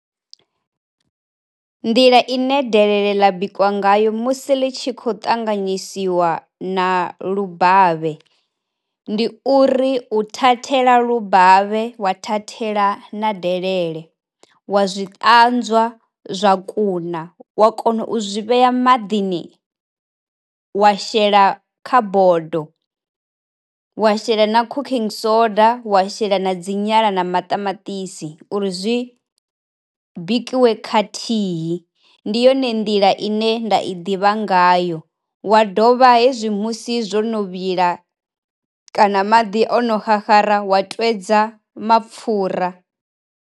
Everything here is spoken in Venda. Nḓila i ne delele ḽi bikwa ngayo musi ḽi tshi kho ṱanganyisiwa na lubavhe, ndi uri u thathela lubavhe wa thathela na delele, wa zwi ṱanzwa zwa kuna wa kona u zwi vhea maḓini, wa shela kha bodo wa shela na cooking soda wa shela na dzi nyala na maṱamaṱisi uri zwi bikiwe khathihi, ndi yone nḓila ine nda i ḓivha ngayo wa dovha hezwi musi zwo no vhila kana maḓi ono xaxara wa twedza mapfura.